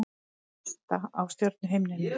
Vesta á stjörnuhimninum